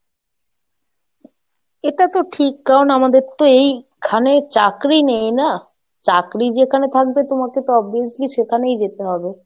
এটা তো ঠিক কারণ আমাদের তো এই খানে চাকরি নেই না, চাকরি যেখানে থাকবে তোমাকে তো obviously সেখানেই যেতে হবে।